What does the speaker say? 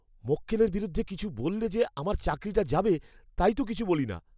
মক্কেলের বিরুদ্ধে কিছু বললে যে আমার চাকরিটা যাবে, তাই তো কিছু বলি না।